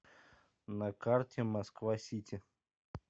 на карте москва сити